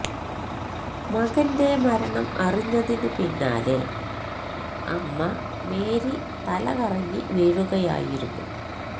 മകന്റെ മരണം അറിഞ്ഞതിന് പിന്നാലെ അമ്മ മേരി തലകറങ്ങി വീഴുകയായിരുന്നു